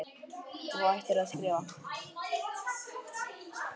Þú hættir að skrifa.